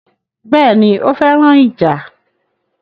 Béèni, ó féràn ìjà